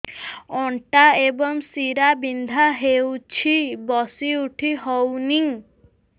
ଅଣ୍ଟା ଏବଂ ଶୀରା ବିନ୍ଧା ହେଉଛି ବସି ଉଠି ହଉନି